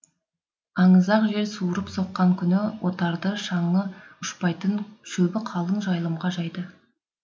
аңызақ жел суырып соққан күні отарды шаңы ұшпайтын шөбі қалың жайылымға жайды